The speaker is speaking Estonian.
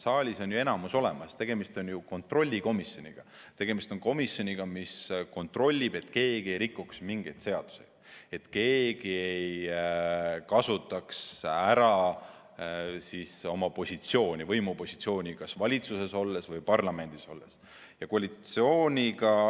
Saalis on ju enamus olemas, tegemist on kontrollkomisjoniga, tegemist on komisjoniga, kes kontrollib, et keegi ei rikuks mingeid seadusi, et keegi ei kasutaks ära oma võimupositsiooni kas valitsuses olles või parlamendis olles.